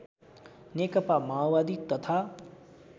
नेकपा माओवादी तथा